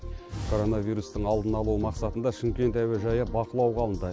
коронавирустың алдын алу мақсатында шымкент әуежайы бақылауға алынды